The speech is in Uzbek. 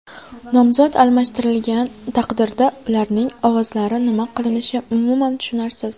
Nomzod almashtirilgan taqdirda ularning ovozlari nima qilinishi umuman tushunarsiz.